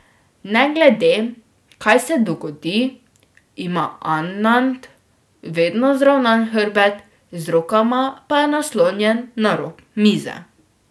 Ne glede, kaj se dogodi, ima Anand vedno zravnan hrbet, z rokama pa je naslonjen na rob mize.